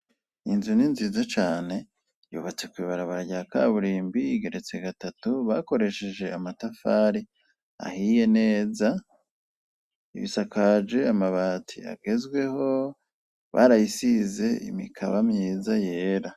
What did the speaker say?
inzu ni nziza cane yubatse kw'ibarabara rya kaburimbi igeretse gatatu bakoresheje amatafari ahiye neza, isakaje amabati agezweho barayisize imikaba myiza yera